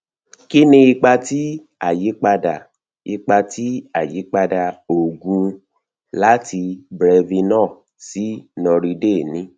kí ni ipa tí ayipada ipa tí ayipada oògùn láti brevinor sí noriday ní